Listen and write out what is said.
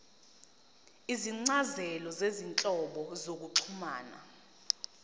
izincazelo zezinhlobo zokuxhumana